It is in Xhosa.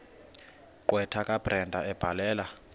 gqwetha kabrenda ebhalela